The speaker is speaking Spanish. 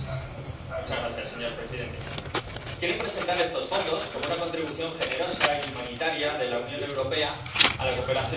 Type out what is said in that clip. Señor presidente, quieren presentar estos fondos como una contribución generosa y humanitaria de la Unión Europea a la cooperación al desarrollo.